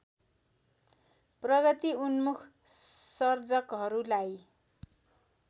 प्रगतिउन्मूख सर्जकहरूलाई